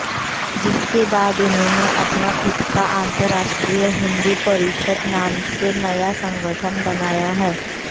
जिसके बाद उन्होने अपना खुद का अंतरराष्ट्रीय हिंदू परिषद नाम से नया संगठन बनाया है